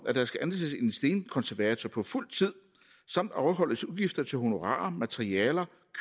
at der skal ansættes en stenkonservator på fuld tid samt afholdes udgifter til honorarer materialer